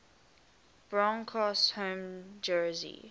broncos home jersey